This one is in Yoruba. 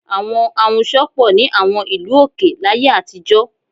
Àwọn ahunsọ pọ̀ ní àwọn ìlú òkè láyé àtijọ́